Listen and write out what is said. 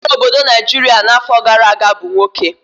Onye chịrị obodo Naijiria n'afọ gara aga bụ nwoke.